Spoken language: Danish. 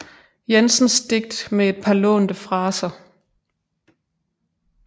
Jensens digt med et par lånte fraser